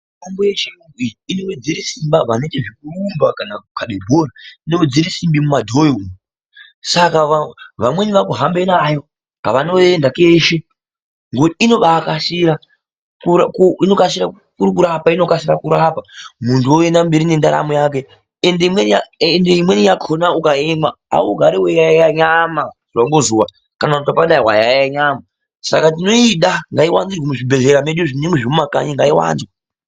Mitombo yechiyungu iyi inowedzere Simba vanenge vechiita zvekurumba kana kukabe bhora , inowedzere simba mumadhoyo umu saka vamweni vakuhambe nayo kavanoenda kweshe ngokuti ibakasira , inokasira kurikurapa inokasira kurapa muntu oyenda mberi nendaramo yake ende imweni yakona ukaimwa augari weiyaiya nyama zuwa ngezuwa kana ukadai wayaiye nyama saka tinoda ngaiwanzirwe muzvibhedhlera medu zvinenge zvemumakanyi ngaiwanzwe.